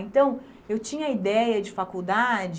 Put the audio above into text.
Então, eu tinha a ideia de faculdade